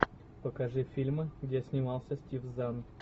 покажи фильмы где снимался стив занн